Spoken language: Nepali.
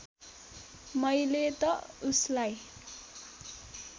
मैले त उसलाई